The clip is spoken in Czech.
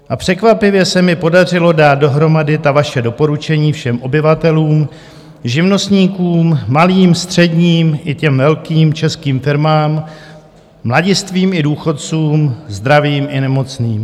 A překvapivě se mi podařilo dát dohromady ta vaše doporučení všem obyvatelům, živnostníkům, malým, středním i těm velkým českým firmám, mladistvým i důchodcům, zdravým i nemocným.